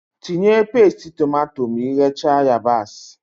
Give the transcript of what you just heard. Tinye pasti tomato ma ighecha yabasị